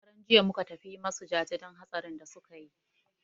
Shekaran jiya muka tafi yi masu jaje don hatsarin da suka yi.